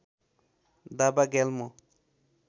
Dawa Gyalmo